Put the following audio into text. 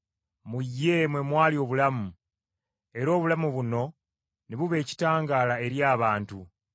Mu ye mwe mwali obulamu; era obulamu buno ne buba ekitangaala eri abantu.